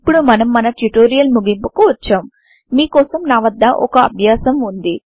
ఇప్పుడు మనం మన ట్యుటోరియల్ ముగింపుకు వచ్చాం మీ కోసం నా వద్ద ఒక అభ్యాసం వుంది